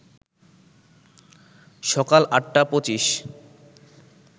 সকাল ৮টা ২৫